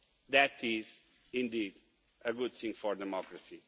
That is indeed a good thing for democracy.